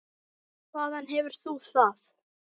Hvaðan hefur þú það?